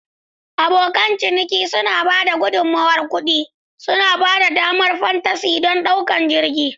Abokan ciniki suna ba da gudummawar kuɗi, suna ba da damar fantasy don ɗaukar jirgin.